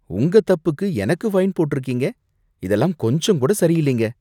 உங்க தப்புக்கு எனக்கு ஃபைன் போட்டிருக்கீங்க, இதெல்லாம் கொஞ்சம் கூட சரியில்லைங்க.